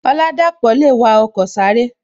Oladapo le wa ọkọ sáré